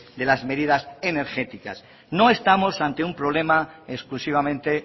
de las medidas energéticas no estamos ante un problema exclusivamente